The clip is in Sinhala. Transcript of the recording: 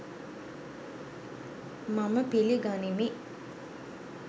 මම පිලිගනිමි.